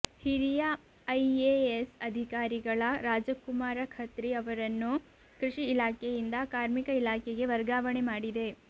ಹಿರಿಯ I A S ಅಧಿಕಾರಿಗಳ ರಾಜಕುಮಾರ ಖತ್ರಿ ಅವರನ್ನು ಕೃಷಿ ಇಲಾಖೆಯಿಂದ ಕಾರ್ಮಿಕ ಇಲಾಖೆಗೆ ವರ್ಗಾವಣೆ ಮಾಡಿದೆ